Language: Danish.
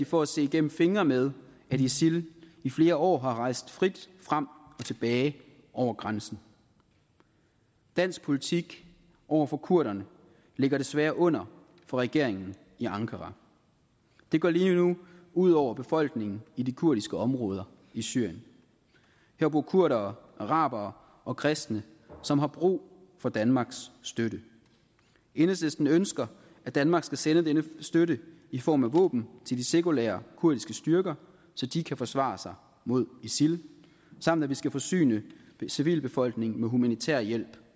for at se gennem fingre med at isil i flere år har rejst frit frem og tilbage over grænsen dansk politik over for kurderne ligger desværre under for regeringen i ankara det går lige nu ud over befolkningen i de kurdiske områder i syrien her bor kurdere arabere og kristne som har brug for danmarks støtte enhedslisten ønsker at danmark skal sende denne støtte i form af våben til de sekulære kurdiske styrker så de kan forsvare sig mod isil samt at vi skal forsyne civilbefolkningen med humanitær hjælp